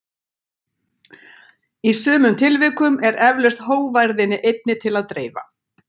Í sumum tilvikum er eflaust hógværðinni einni til að dreifa.